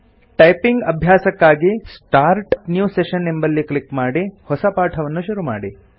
typing ಅಭ್ಯಾಸಕ್ಕಾಗಿ start new session ಎಂಬಲ್ಲಿ click ಮಾಡಿ ಹೊಸ ಪಾಠವನ್ನು ಶುರುಮಾಡಿ